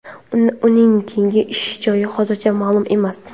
Uning keyingi ish joyi hozircha ma’lum emas.